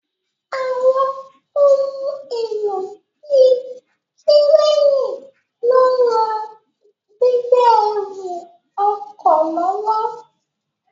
Àwọn ohun èlò bíi kírénì ló ń ran gbígbé ẹrù ọkọ̀ lọ́wọ́